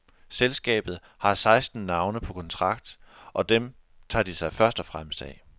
Selskabet har seksten navne på kontrakt, og dem tager de sig først og fremmest af.